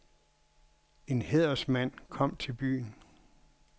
En hædersmand kom til byen.